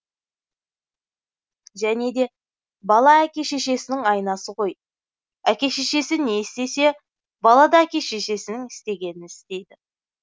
және де бала әке шешесінің айнасы ғой әке шешесі не істесе бала да әке шешесінің істегенін істейді